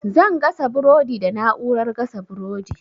Zan gasa burodi da na'urar gasa burodi.